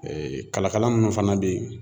kalakala minnu fana bɛ yen